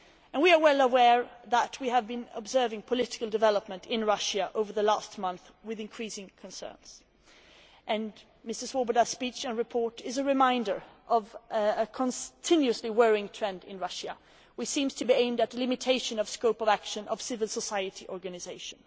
We are well aware that we have been observing political developments in Russia over the last month with increasing concern, and Mr Swoboda's speech and report is a reminder of a continuously worrying trend in Russia which seems to be aimed at limiting the scope of action of civil society organisations.